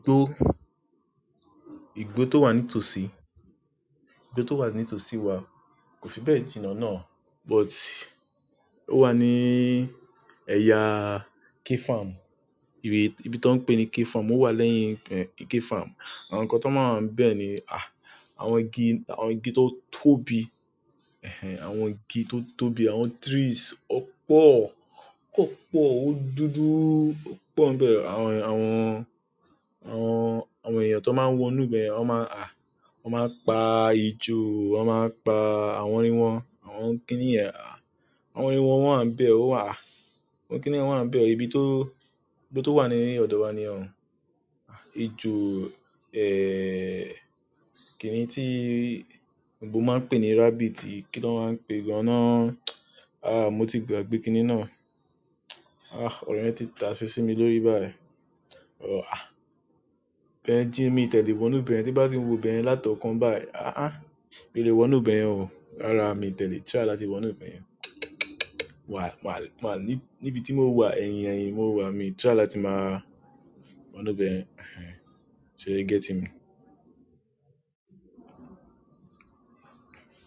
Igbo tó wà ní tòsí, igbo tó wà ní tòsí wà, kò fi bẹ́ẹ̀ jìnnà náà, but ó wà ní ẹ̀yaa K-farm, ibi tó ń pè ní K-farm, ó wà lẹ́yìn K-farm. Àwọn nǹkan tó máa wà ń bẹ́ẹ̀ ni, àwọn igi tó tóbi, àwọn igi tó tóbi, àwọn trees ópọ̀, ópọ̀, ó dúdú, ópọ̀ ń bẹ àwọn èèyàn. Àwọn. Àwọn èèyàn tó máa ń wo inú bẹ̀ yẹn wọn má n a, wọ́n máa pa ejò, wọ́n máa pa àwọn ẹran, àwọn kìnìún, àwọn ẹran wà ń bẹ̀ ọ́ wàá a, àwọn kìnìún wà ń bẹ̀ ibi tó ibi tó wà ní ọ̀dọ̀ wa ni yẹn o. Ejò, ẹẹ kíni tí gbogbo máa ń pè ní rabbit yìí, kí ló máa ń pè gan-an náà? Àáà, mo ti gbàgbé kíni náà. Àáà, ọ̀rọ̀ yẹn ti tàṣé ṣí mi lórí báyìí. Ibẹ̀yẹn jin, mí ti ẹ̀ lé wọnú ibẹ̀ yẹn, tí n bá ti ń wo ibẹ̀ yẹn látọkàn báyìí, a a, mi lè wọnú bẹ̀ yẹn o. Rárá, mí ti ẹ̀ lé, try láti wọnú bẹ̀ yẹn. Why wà wa á ní ibi tí mo wà, ẹ̀yin, ẹ̀yin mo wà, mi try láti máa wọnú ibẹ̀ yẹn. So you getting me?